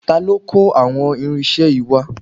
Ta ló kó àwọn irinṣẹ́ yìí wá?